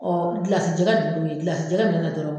gilasi jɛgɛ gilasi jɛgɛ min